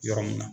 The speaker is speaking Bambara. Yɔrɔ mun na